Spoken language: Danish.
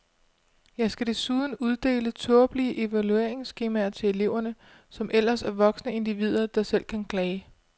Jeg skal desuden uddele tåbelige evalueringsskemaer til eleverne, som ellers er voksne individer, der selv kan klage.